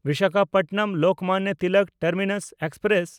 Visakhapatnam Lokmanya Tilak terminus express